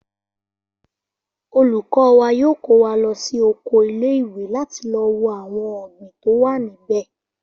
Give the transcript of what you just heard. Olùkó wa yóò kó wa lo sí okò ile iwe láti lo wo àwon ohun ògbìn tó wà níbè